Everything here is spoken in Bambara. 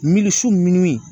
Mili su